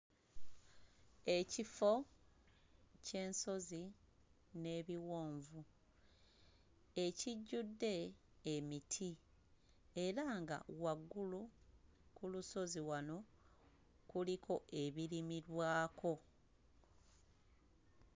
Ekifo ky'ensozi n'ebiwonvu ekijjudde emiti era nga waggulu ku lusozi wano kuliko ebirimibwako.